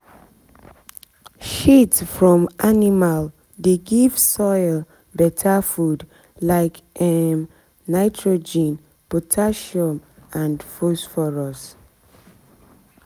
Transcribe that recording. shit from animal dey give soil better food like um nitrogen potassium and phosphorus.